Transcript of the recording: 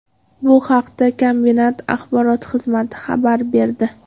Bu haqda kombinat axborot xizmati xabar berdi .